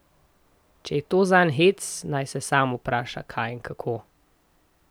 Če je to zanj hec, naj se sama vpraša, kaj in kako.